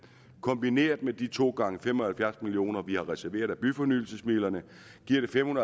kombineret med de to gange fem og halvfjerds million kr vi har reserveret af byfornyelsesmidlerne giver det fem